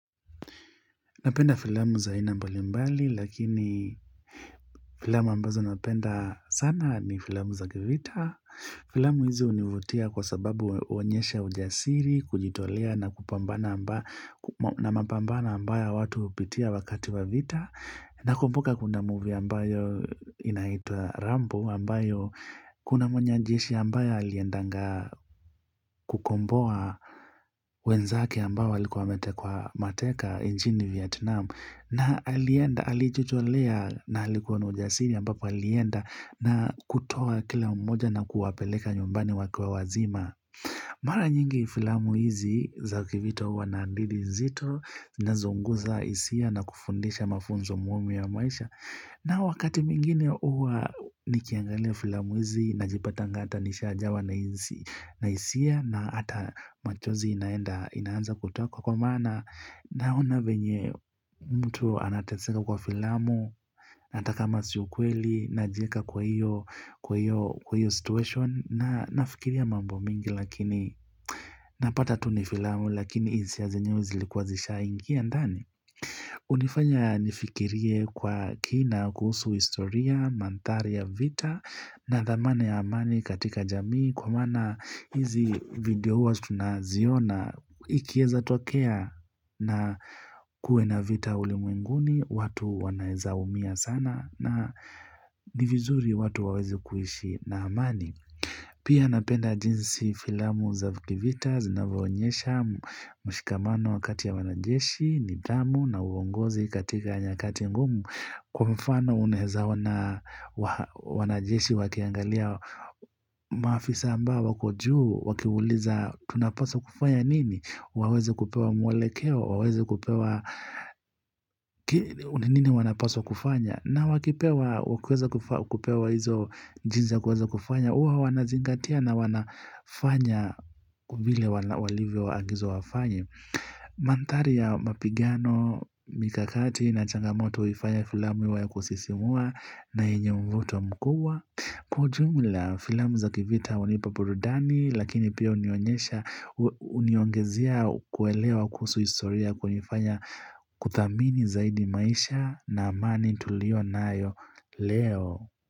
Napenda filamu za aina mbali mbali lakini filamu ambazo napenda sana ni filamu za kivita. Filamu hizi hunivutia kwa sababu huonyesha ujasiri, kujitolea na mapambana ambayo watu hupitia wakati wa vita. Nakumbuka kuunda movie ambayo inaitwa Rambo ambayo kuna mwanajeshi ambayo aliendanga kukomboa wenzake ambao walikuwa wametekwa mateka nchini Vietnam. Na alienda, alijolea na alikuwa na ujasiri ambapo alienda na kutoa kila mmoja na kuwapeleka nyumbani wakiwa wazima. Mara nyingi filamu hizi za kivita huwa na hadithi nzito zinazounguza hisia na kufundisha mafunzo muhimu ya maisha. Nao wakati mwingine huwa nikiangalia filamu hizi najipatanga hata nishajawa na hisia na hata machozi inaenda inaanza kutoa kwa kwa maana. Naona venye mtu anateseka kwa filamu hata kama si ukweli Najieka kwa hiyo situation na nafikiria mambo mingi lakini Napata tu ni filamu lakini hisia zenyewe zilikuwa zishaingia ndani hunifanya nifikirie kwa kina kuhusu historia Mandhari ya vita na dhamana ya amani katika jamii Kwa maana hizi video huwa tunaziona ikieza tokea na kuwe na vita ulimwenguni, watu wanaezaumia sana na ni vizuri watu waweze kuishi na amani. Pia napenda jinsi filamu za kivita zinavyoonyesha mshikamano wakati ya wanajeshi, nidhamu na uongozi katika nyakati ngumu. Kwa mfano unaeza ona wanajeshi wakiangalia maafisa ambao wako juu, wakiuliza tunapaswa kufanya nini? Waweze kupewa mwalekeo, waweze kupewa ni nini wanapaswa kufanya na wakipewa kuweza kupewa hizo jinsi ya kuweza kufanya huwa wanazingatia na wanafanya vile walivyoangizwa wafanye Mandhari ya mapigano, mikakati na changamoto huifanya filamu iwe ya kusisimua na yenye mvuto mkuu Kwa ujumla filamu za kivita hunipa burudani Lakini pia huniongezia kuelewa kusuhu historia kwenye kufanya kuthamini zaidi maisha na amani tulio nayo leo.